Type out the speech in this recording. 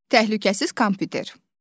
Təhlükəsiz kompüter.